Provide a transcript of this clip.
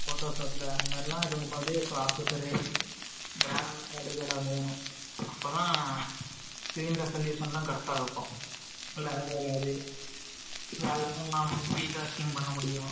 Photoshop ல அந்த மாதிரி எல்லாம் இருக்கும்போது, இப்ப processor , இதெல்லாம் வேணும். அப்பதான், screen resolution எல்லாம் correct ஆ இருக்கும். பண்ண முடியும்